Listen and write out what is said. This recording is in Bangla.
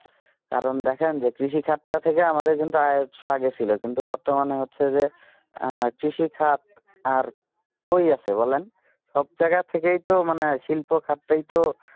কারণ দেখেন যে কৃষি খাত টা থেকে আমাদের কিন্তু আয় উৎস আগে ছিল কিন্তু বর্তমানে হচ্ছে যে কৃষি খাত আর কই আছে বলেন সব জায়গা থেকেই তো মনে হয় শিল্প খাতটাই তো